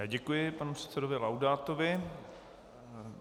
Já děkuji panu předsedovi Laudátovi.